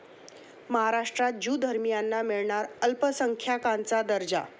महाराष्ट्रात ज्यू धर्मियांना मिळणार अल्पसंख्याकांचा दर्जा